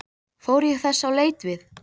Fór ég þess á leit við